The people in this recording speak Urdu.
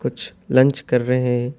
کچھ لنچ کر رہے ہیں۔